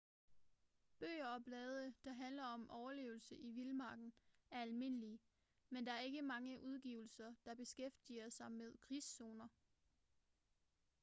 bøger og blade der handler om overlevelse i vildmarken er almindelige men der er ikke mange udgivelser der beskæftiger sig med krigszoner